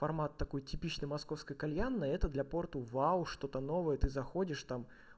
формат такой типичный московская кальянная это для порту вау что-то новое ты заходишь там